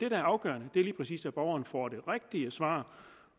er afgørende er lige præcis at borgeren får det rigtige svar